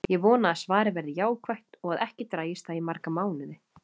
Ég vona að svarið verði jákvætt og að ekki dragist það í marga mánuði.